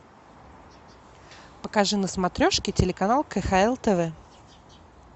покажи на смотрешке телеканал кхл тв